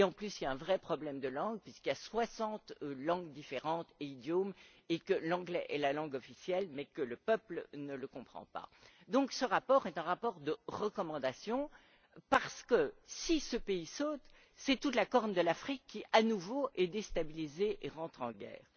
De plus, il y a un vrai problème de langue puisqu'il y a 60 langues et idiomes différents et que l'anglais est la langue officielle, alors que le peuple ne le comprend pas. Ce rapport est un rapport de recommandation parce que, si ce pays saute, c'est toute la corne de l'Afrique qui, à nouveau, est déstabilisée et rentre en guerre.